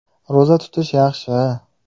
Ro‘za tutish yaxshi.